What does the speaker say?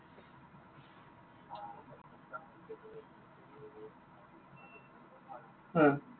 হা।